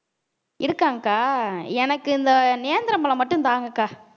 இருக்காங்க்கா எனக்கு இந்த நேந்திரம் பழம் மட்டும் தாங்கக்கா